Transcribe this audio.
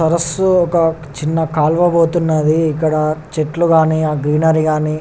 సరస్సు ఒక చిన్న కాలువ పోతునది ఇక్కడ ఆ చెట్లు గని ఆ గ్రీనరీ గని .